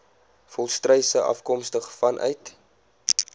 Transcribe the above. volstruise afkomstig vanuit